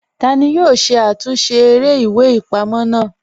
Tani yoo ṣe àtúnsẹ̀ èrè ìwé-ìpamọ́ naa?